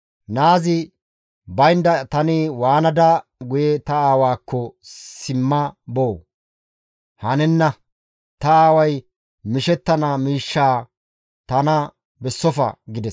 Naazi baynda tani waanada guye ta aawaakko simma boo? Hanenna; ta aaway mishettana miishshaa tana bessofa» gides.